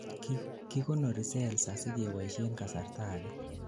kikonori cells asigeboishen kasarta age